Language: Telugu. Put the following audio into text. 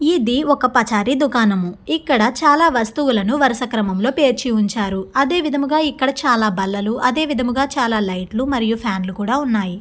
ఇది ఒక పచారి దుకాణం. ఇక్కడ చాలా వస్తువులను వరుస క్రమం లోపెర్చి ఉంచారు. అదే విధముగా ఇక్కడ చాలా బల్లలు అదే విధముగా చాలా లైట్ లు మరియు ఫ్యాన్ లు కూడా ఉన్నాయి.